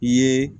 I ye